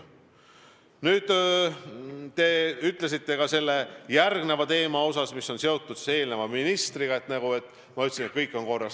Nüüd, te ütlesite selle teise ministriga seotud teema puhul, et ma ütlesin, et kõik on korras.